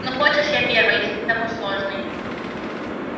ну хочешь я первая если ты такой сложный